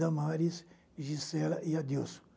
Damares, Gisela e Adilson.